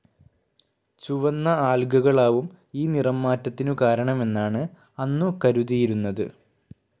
ചുവന്ന ആൽഗകളാവും ഈ നിറം മാറ്റത്തിനു കാരണമെന്നാണ് അന്നു കരുതിയിരുന്നത്.